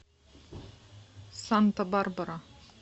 санта барбара